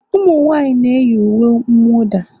Ụmụnwaanyị na-eyi uwe mwụda?